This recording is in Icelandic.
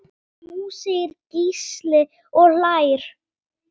Jú segir Gísli og hlær.